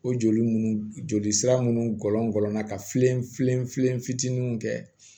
O joli munnu joli sira munnu gɔlɔngɔn na kalen filen filen fitininw kɛ